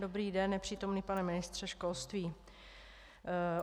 Dobrý den, nepřítomný pane ministře školství.